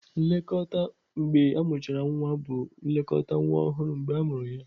Nlekọta mgbe amụchara nwa bụ nlekọta nwa ọhụrụ mgbe amụrụ ya.